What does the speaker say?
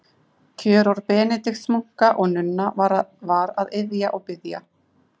Kjörorð Benediktsmunka og-nunna var að iðja og biðja.